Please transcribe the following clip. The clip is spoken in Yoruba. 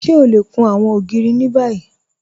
Ṣé ọ lẹ kún àwọn ogìrì ni báyì?